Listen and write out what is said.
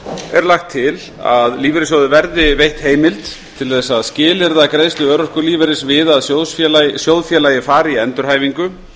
er lagt til að lífeyrissjóði verði veitt heimild til að skilyrða greiðslu örorkulífeyris við að sjóðfélagi fari í endurhæfingu